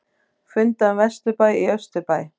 Funda um vesturbæ í austurbæ